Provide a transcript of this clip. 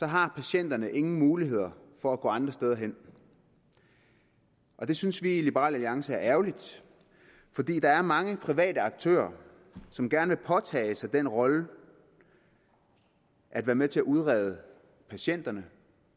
har patienterne ingen muligheder for at gå andre steder hen og det synes vi i liberal alliance er ærgerligt fordi der er mange private aktører som gerne vil påtage sig den rolle at være med til at udrede patienterne